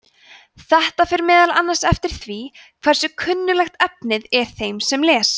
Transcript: þetta fer meðal annars eftir því hversu kunnuglegt efnið er þeim sem les